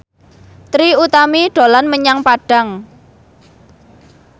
Trie Utami dolan menyang Padang